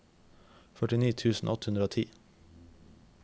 førtini tusen åtte hundre og ti